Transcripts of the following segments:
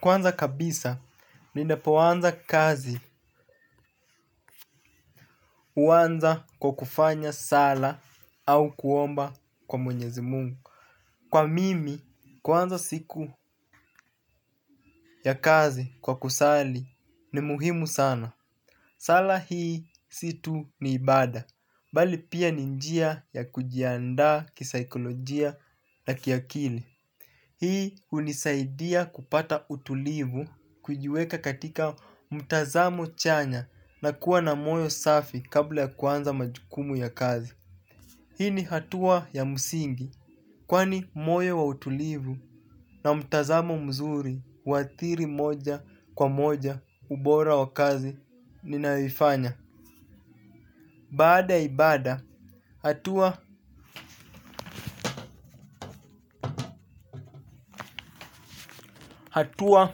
Kwanza kabisa, ninapoanza kazi huanza kwa kufanya sala au kuomba kwa mwenyezi mungu. Kwa mimi, kuanza siku ya kazi kwa kusali ni muhimu sana. Sala hii si tu ni ibada, bali pia ni njia ya kujianda kisaikolojia. Na kiakili. Hii hunisaidia kupata utulivu kujiweka katika mtazamo chanya na kuwa na moyo safi kabla kuanza majukumu ya kazi. Hii ni hatua ya msingi kwani moyo wa utulivu na mtazamo mzuri huadhiri moja kwa moja ubora wa kazi ninayoifanya. Baada ya ibada hatua hatua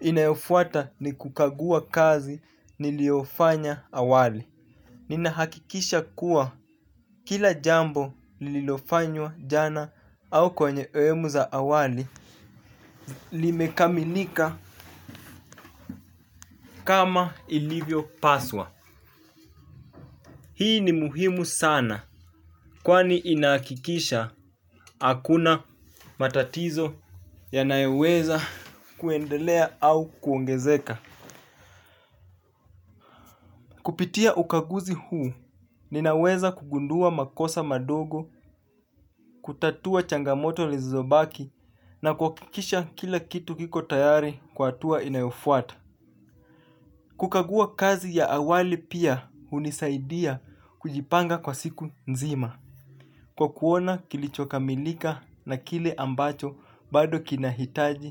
inayofuata ni kukagua kazi niliyofanya awali. Ninahakikisha kuwa kila jambo lililofanywa jana au kwenye sehemu za awali limekamilika kama ilivyo paswa. Hii ni muhimu sana kwani inahakikisha hakuna matatizo yanoyeweza kuendelea au kuongezeka. Kupitia ukaguzi huu, ninaweza kugundua makosa madogo, kutatua changamoto lizobaki na kuhakikisha kila kitu kiko tayari kwa hatua inayofuata. Kukagua kazi ya awali pia hunisaidia kujipanga kwa siku nzima, kwa kuona kilichokamilika na kile ambacho bado kinahitaji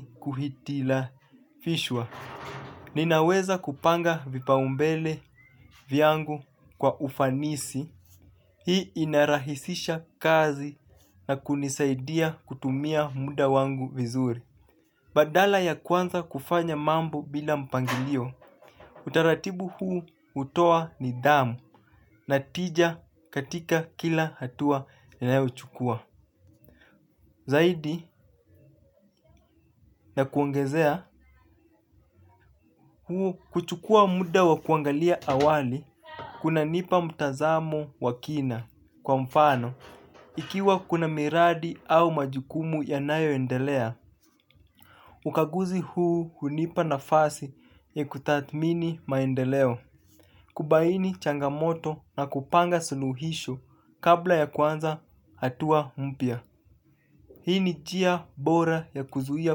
kuhitilafishwa. Ninaweza kupanga vipaumbele vyangu kwa ufanisi. Hii inarahisisha kazi na kunisaidia kutumia muda wangu vizuri. Badala ya kuanza kufanya mambo bila mpangilio, utaratibu huu hutoa nidhamu natija katika kila hatua ninayochukua. Zaidi ya kuongezea kuchukua muda wa kuangalia awali kunanipa mtazamo wa kina kwa mfano. Ikiwa kuna miradi au majukumu yanayo endelea, ukaguzi huu hunipa nafasi ya kutathmini maendeleo. Kubaini changamoto na kupanga suluhisho kabla ya kuanza hatua mpya. Hii ni njia bora ya kuzuia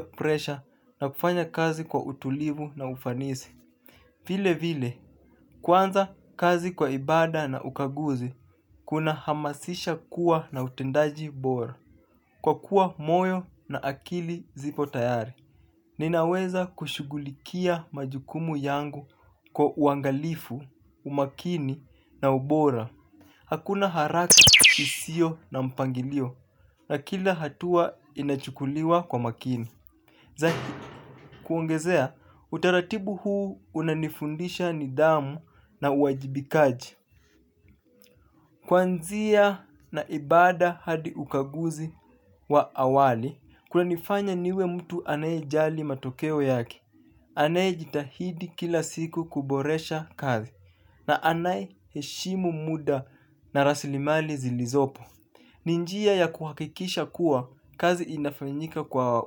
presha na kufanya kazi kwa utulivu na ufanisi. Vilevile, kuanza kazi kwa ibada na ukaguzi, kuna hamasisha kuwa na utendaji bora. Kwa kuwa moyo na akili zipo tayari. Ninaweza kushugulikia majukumu yangu kwa uangalifu, umakini na ubora. Hakuna haraka isiyo na mpangilio na kila hatua inachukuliwa kwa makini. Kuongezea, utaratibu huu unanifundisha nidhamu na uwajibikaji. Kuanzia na ibada hadi ukaguzi wa awali, kunanifanya niwe mtu anayejali matokeo yake. Anayejitahidi kila siku kuboresha kazi na anayeheshimu muda na rasilimali zilizopo. Ni njia ya kuhakikisha kuwa kazi inafanyika kwa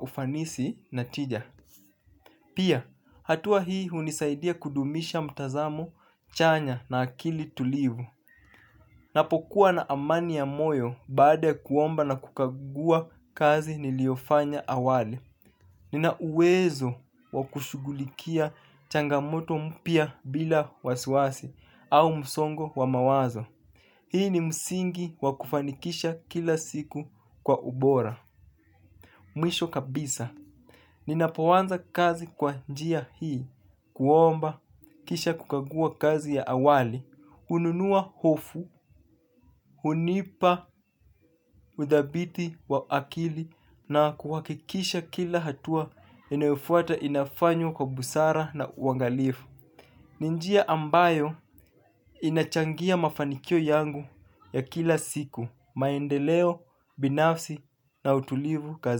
ufanisi natija. Pia, hatua hii hunisaidia kudumisha mtazamo, chanya na akili tulivu. Napokuwa na amani ya moyo baada kuomba na kukagua kazi niliyofanya awali. Nina uwezo wakushugulikia changamoto mpya bila wasiwasi au msongo wa mawazo. Hii ni msingi wakufanikisha kila siku kwa ubora, mwisho kabisa. Ninapoanza kazi kwa njia hii, kuomba, kisha kukagua kazi ya awali, hununua hofu, hunipa udhabiti wa akili na kuhakikisha kila hatua inayofuata inafanywa kwa busara na uangalifu. Ni njia ambayo inachangia mafanikio yangu ya kila siku maendeleo binafsi na utulivu kazi.